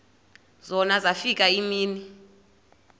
zona zafika iimini